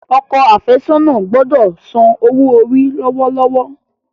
Okọ afesona gbódò ń sàn owo-ori lọwọlọwọ.